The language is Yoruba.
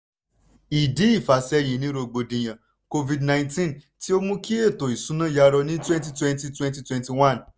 ìdí ìfàsẹ́yìn ni rògbòdìyàn covid-nineteen tí ó mú kí ètò ìṣúná yarọ ní twenty twenty wenty twenty one